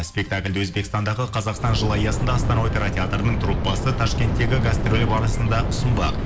спектакльді өзбекстандағы қазақстан жыл аясында астана опера театртының труппасы ташкенттегі гастролі барысында ұсынбақ